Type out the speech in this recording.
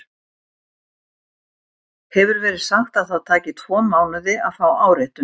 Hefur verið sagt að það taki tvo mánuði að fá áritun.